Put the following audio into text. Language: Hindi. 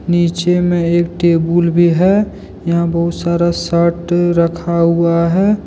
नीचे में एक टेबुल भी है यहां बहुत सारा शर्ट रखा हुआ है।